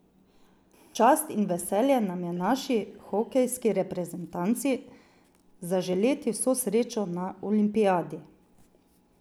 V čast in v veselje nam je naši hokejski reprezentanci zaželeti vso srečo na olimpijadi.